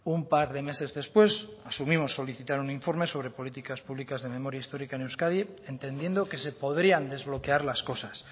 un par de meses después asumimos solicitar un informe sobre políticas públicas de memoria histórica en euskadi entendiendo que se podrían desbloquear las cosas